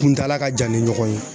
Kuntala ka jan ni ɲɔgɔn ye